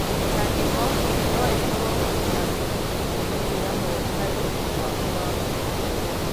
Mĩtangĩko no ĩkorũo na moimĩrĩro moru harĩ ũgima waku wa mwĩrĩ.